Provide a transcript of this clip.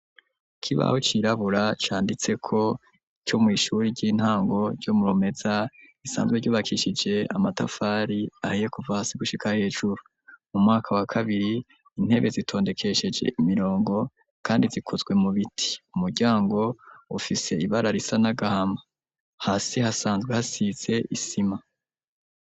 Ikibaho cirabura canditse ko co mu ishure ry'intango ryo murumeza risanzwe ryubakishije amatafari ahiye kuva hasi gushika hejuru mu mwaka wa kabiri intebe zitondekesheje imirongo kandi zikozwe mu biti umuryango ufise ibara risa n'agahama hasi hasanzwe hasize isima.